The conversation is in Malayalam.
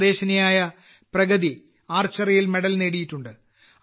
സ്വദേശിനിയായ പ്രഗതി ആർച്ചറിയിൽ മെഡൽ നേടിയിട്ടുണ്ട്